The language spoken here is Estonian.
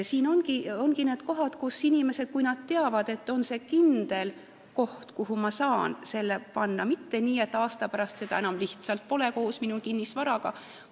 See ongi see koht, kuhu inimesed saaksid pöörduda, kui nad teavad, et see on kindel koht, mitte nii, et aasta pärast seda enam lihtsalt koos minu kinnisvaraga pole.